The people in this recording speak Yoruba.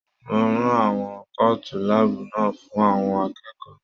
Mo rán àwọn kootu láàbù náà fún àwọn akẹ́kọ̀ọ́.